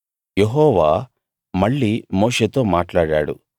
యెహోవా మళ్ళీ మోషేతో మాట్లాడాడు